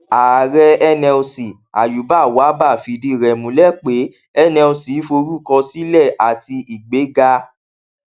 ààrẹ nlc ayuba wabba fìdí rẹ múlẹ pé nlc forúkọ sílẹ àti ìgbéga